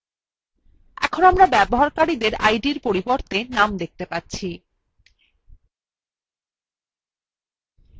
এখন আমরা ব্যবহারকারীডের names পরিবর্তে id দেখতে পাচ্ছি